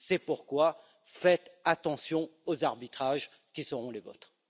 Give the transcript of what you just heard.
C'est pourquoi, faites attention aux arbitrages qui seront les vôtres.